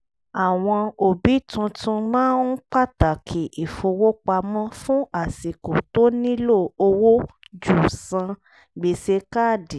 àwọn òbí túntún máa ń pàtàkì ìfowópamọ́ fún àsìkò tó nílò owó ju san gbèsè káàdì